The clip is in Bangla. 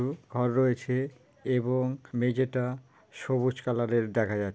আর রয়েছে এবং মেঝেটা সবুজ কালার এর দেখা যাছ--